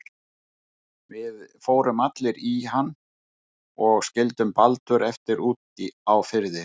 Við fórum allir í hann og skildum Baldur eftir úti á firði.